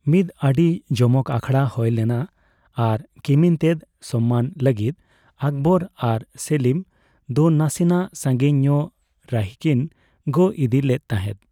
ᱢᱤᱫ ᱟᱹᱰᱤ ᱡᱚᱢᱚᱠ ᱟᱠᱷᱲᱟ ᱦᱳᱭ ᱞᱮᱱᱟ ᱟᱨ ᱠᱤᱢᱤᱱᱛᱮᱫ ᱥᱚᱱᱢᱟᱱ ᱞᱟᱹᱜᱤᱫ ᱟᱠᱵᱚᱨ ᱟᱨ ᱥᱮᱞᱤᱢ ᱫᱚ ᱱᱟᱥᱮᱱᱟᱜ ᱥᱟᱸᱜᱤᱧ ᱧᱚᱜ ᱨᱟᱹᱦᱤᱠᱤᱱ ᱜᱚᱜ ᱤᱫᱤ ᱞᱮᱫ ᱛᱟᱦᱮᱫ ᱾